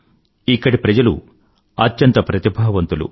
ఇక్కడి ప్రజలు అత్యంత ప్రతిభావంతులు